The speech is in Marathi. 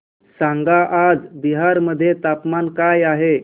सांगा आज बिहार मध्ये तापमान काय आहे